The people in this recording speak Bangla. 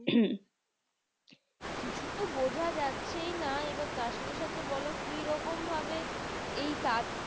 কিছু তো বোঝা যাচ্ছেই না। এবার তার সাথে সাথে বোলো কিরকম ভাবে এইটা